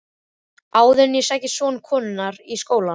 Áður en ég sæki son konunnar í skólann.